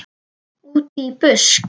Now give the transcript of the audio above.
Útí busk.